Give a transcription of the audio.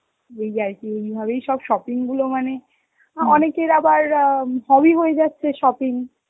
এই আর কি, এইভাবে সব shopping এগুলো মানে, অনেকের আবার আঁ hobby হয়ে যাচ্ছে shopping.